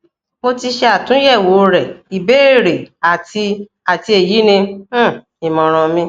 mo ti ṣe atunyẹwo rẹ ibeere ati ati eyi ni um imọran mi